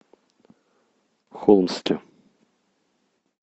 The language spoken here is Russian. холмске